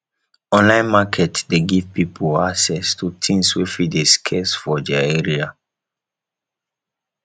online market de give pipo access to things wey fit de scarce for their area